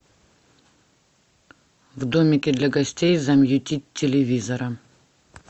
в домике для гостей замьютить телевизора